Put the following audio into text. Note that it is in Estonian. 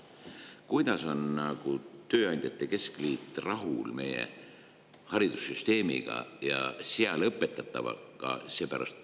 Kuidas on tööandjate keskliit rahul meie haridussüsteemiga ja seal õpetatavaga?